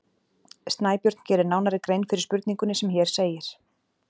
Snæbjörn gerir nánari grein fyrir spurningunni sem hér segir: